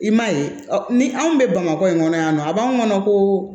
I m'a ye ni anw bɛ bamakɔ in kɔnɔ yan nɔ a b'anw kɔnɔ ko